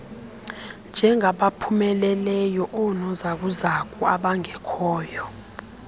njengabaphumeleleyo oonozakuzaku abangekhoyo